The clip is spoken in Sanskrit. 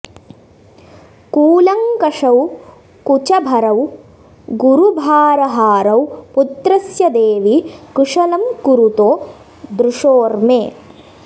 कूलङ्कषौ कुचभरौ गुरुभारहारौ पुत्रस्य देवि कुशलं कुरुतो दृशोर्मे